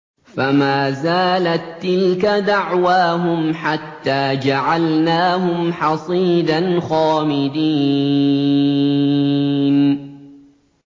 فَمَا زَالَت تِّلْكَ دَعْوَاهُمْ حَتَّىٰ جَعَلْنَاهُمْ حَصِيدًا خَامِدِينَ